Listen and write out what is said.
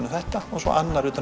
um þetta og svo annar utan